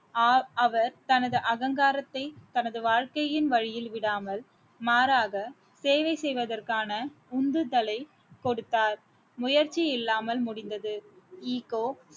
ஆஹ் அவர் தனது அகங்காரத்தை தனது வாழ்க்கையின் வழியில் விடாமல் மாறாக சேவை செய்வதற்கான உந்துதலை கொடுத்தார் முயற்சி இல்லாமல் முடிந்தது